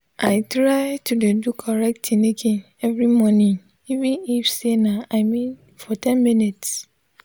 i try to de do correct tinikin everi mornin even if say nah i mean for ten mins